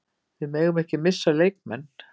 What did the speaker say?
Við megum ekki missa leikmenn.